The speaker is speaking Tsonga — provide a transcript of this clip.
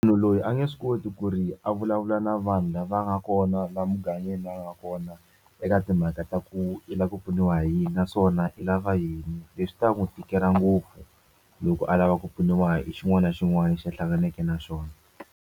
Munhu loyi a nge swi koti ku ri a vulavula na vanhu lava nga kona laha mugangeni la a nga kona eka timhaka ta ku i lava ku pfuniwa hi yini naswona i lava yini leswi swi ta n'wi tikela ngopfu loko a lava ku pfuniwa hi xin'wana na xin'wana lexi a hlanganeke na xona.